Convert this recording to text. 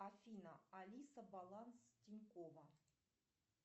афина алиса баланс тинькова